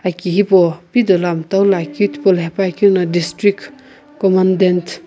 aki hipau pi dolo mtaulo akeu tipaulo hepuakeu no district commandant.